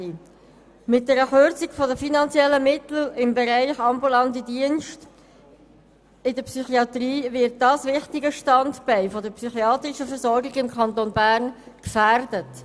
Mit einer Kürzung der finanziellen Mittel im Bereich der ambulanten Dienste in der Psychiatrie wird ein wichtiges Standbein der psychiatrischen Versorgung im Kanton Bern gefährdet.